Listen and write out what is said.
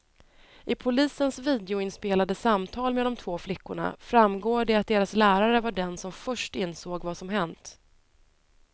I polisens videoinspelade samtal med de två flickorna framgår det att deras lärare var den som först insåg vad som hänt.